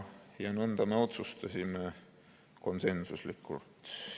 Nõnda me otsustasime konsensuslikult.